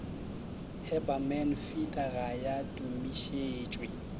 haberman feeder ga ya tumišetšwe